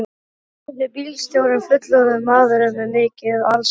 spurði bílstjórinn, fullorðinn maður með mikið alskegg.